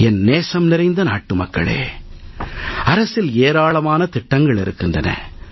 என் நேசம் நிறைந்த நாட்டுமக்களே அரசில் ஏராளமான திட்டங்கள் இருக்கின்றன